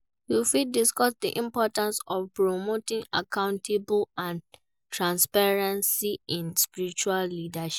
You fit discuss di importance of promoting accountability and transparency in spiritual leadership.